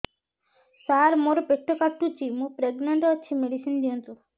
ସାର ମୋର ପେଟ କାଟୁଚି ମୁ ପ୍ରେଗନାଂଟ ଅଛି ମେଡିସିନ ଦିଅନ୍ତୁ